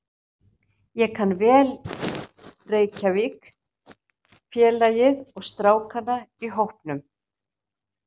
Ég kann vel Reykjavík, félagið og strákana í hópnum.